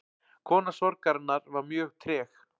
Kona sorgarinnar var mjög treg.